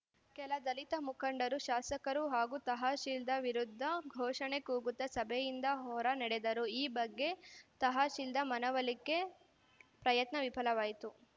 ಕೆಲ ದಲಿತ ಮುಖಂಡರು ಶಾಸಕರು ಹಾಗೂ ತಹಶೀಲ್ದಾರ್‌ ವಿರುದ್ಧ ಘೋಷಣೆ ಕೂಗುತ್ತಾ ಸಭೆಯಿಂದ ಹೊರ ನಡೆದರು ಈ ಬಗ್ಗೆ ತಹಶೀಲ್ದಾರ್‌ ಮನವೊಲಿಕೆ ಪ್ರಯತ್ನ ವಿಫಲವಾಯಿತು